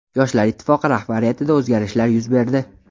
Yoshlar Ittifoqi rahbariyatida o‘zgarishlar yuz berdi.